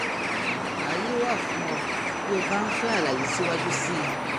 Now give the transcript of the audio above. ààyè wà fún ọ bí ó bá ń fẹ́ àlàyé síwájú sí i